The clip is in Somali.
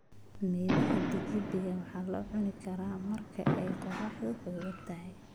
Midhaha tikidhiga waxaa lagu cuni karaa marka ay qoraxdu xooggan tahay.